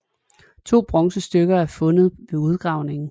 To bronzesmykker er fundet ved udgravningen